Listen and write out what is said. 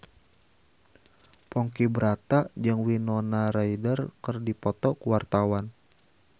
Ponky Brata jeung Winona Ryder keur dipoto ku wartawan